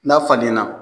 N'a falenna